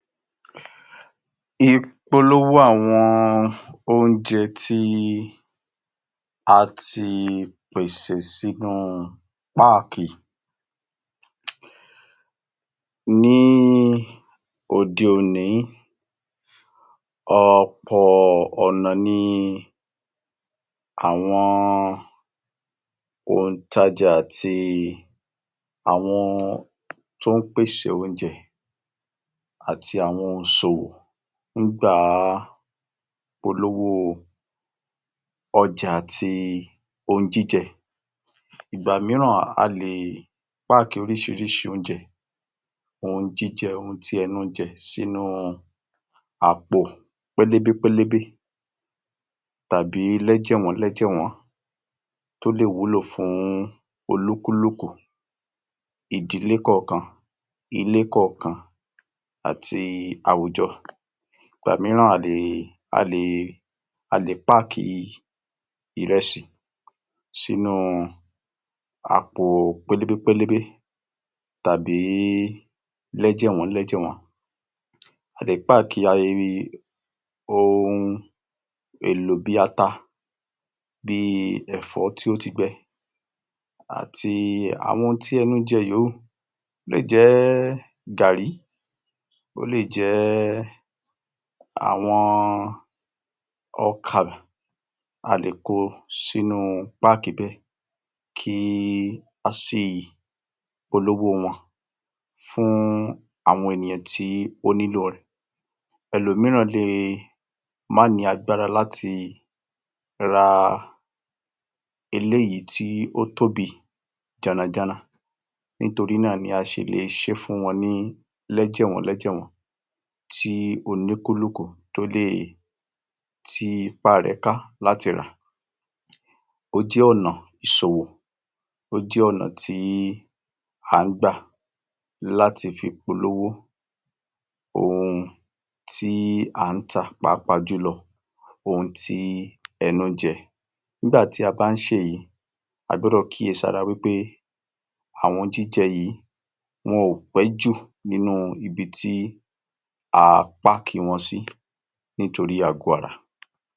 Ìpolówó àwọn oúnjẹ tí a ti pèsè sínu páàkì Ní òde òní ọ̀pọ̀ ọ̀nà ni àwọn òǹtajà àti àwọn to ń pèsè oúnjẹ àti àwọn òǹṣòwò ń gbà polówó ọjà tí ohùn jíjẹ ìgbà míràn,a lè páàki orísirísi ohun jíjẹ ọ̀hún ti ẹnú ń jẹ sínu àpò pélébé pélébé tàbí lẹ́jẹ̀wọ́n lẹ́jẹ̀wọ́n tó lè wúlò fún olúkúlukú ìdílé kọ̀ọ̀kan ilé kọ̀ọ̀kan àti àwùjọ, ìgbà míràn a lè páàkì ìrẹsì sínu àpò pélébé pélébé tàbí lẹ́jẹ̀wọ́n lẹ́jẹ̀wọ́n, a lè páàki ohun èlò bíi ata, bíi ẹ̀fọ́ tí ó ti gbẹ àti àwọn ohùn ti ẹnu ń jẹ míràn yówù, ó lè jẹ́ gààrí, ó lè jẹ́ àwọn ọkà, a lè kó o sínu páàkì bẹ́ẹ̀ kí á sì polówó wọn fún àwọn ènìyàn tí ó bá nílo rẹ̀, ẹ̀lọ̀míràn lè má ni agbára láti ran eléyìí tí ó tóbi jàrànjaran nítorí náà ni a ṣe lè ṣe fún wọn ní lẹ́jẹ̀wọń lẹ́jẹ̀wọ́n, tí olúkùlùkù tó lè, ti ipa rẹ̀ ka láti rà,ó jẹ́ ọ̀nà ìṣòwò ó jẹ́ ọ̀nà tí à ń gbà láti fi polówó ohùn tí à ń tà pàápàá jùlọ, ohùn ti ẹnu ń jẹ, nígbàtí a ba ń se ì̀yẹn, a gbọ́dọ̀ kíyèsára pé àwọn ohùn jíjẹ yìí, wọn ó péjú nínú ibì ti a páàkì wọn ṣi nítorí àgọ ara.